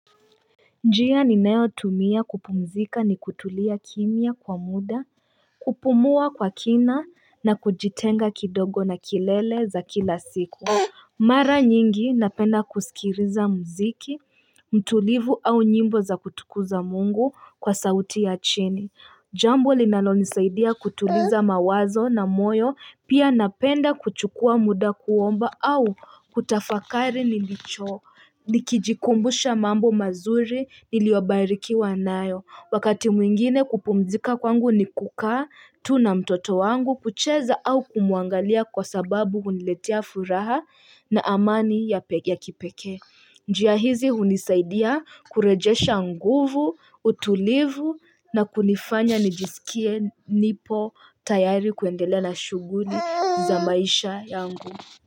Njia ninayotumia kupumzika ni kutulia kimya kwa muda, kupumua kwa kina na kujitenga kidogo na kelele za kila siku. Mara nyingi napenda kusikiliza muziki, mtulivu au nyimbo za kutukuza mungu kwa sauti ya chini. Jambo linalonisaidia kutuliza mawazo na moyo, pia napenda kuchukua muda kuomba au kutafakari nilicho. Ni kijikumbusha mambo mazuri niliyobarikiwa nayo. Wakati mwingine kupumzika kwangu ni kukaa tu na mtoto wangu kucheza au kumuangalia kwa sababu huniletea furaha na amani ya kipeke. Njia hizi hunisaidia kurejesha nguvu, utulivu na kunifanya nijisikie nipo tayari kuendelela shughuli za maisha yangu.